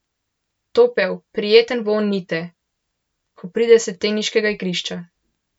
Topel, prijeten vonj Nite, ko pride s teniškega igrišča.